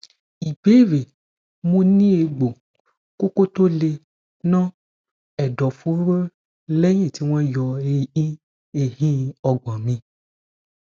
ìbéèrè mo ni egbo koko to le no edoforo leyin ti won yo ehin ehin ogbon mi